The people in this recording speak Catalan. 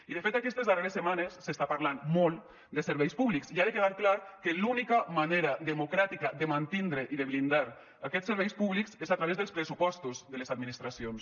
i de fet aquestes darreres setmanes s’està parlant molt de serveis públics i ha de quedar clar que l’única manera democràtica de mantindre i de blindar aquests serveis públics és a través dels pressupostos de les administracions